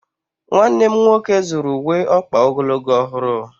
Nwanne m nwoke zụrụ uwe ọkpa ogologo ọhụrụ.